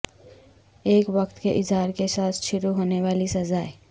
ایک وقت کے اظہار کے ساتھ شروع ہونے والی سزائیں